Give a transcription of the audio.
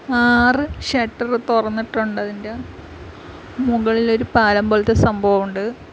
ആറ് ഷട്ടർ തുറന്നിട്ടുണ്ട് അതിൻ്റെ മുകളിൽ ഒരു പാലം പോലത്തെ സംഭവമുണ്ട്.